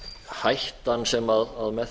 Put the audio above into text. hættan sem með